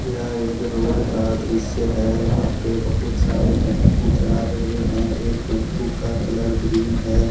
यह एक रोड का दृश्य है यहां पे बहुत सारे टेंपो जा रहे हैं एक टेंपो का कलर ग्रीन है।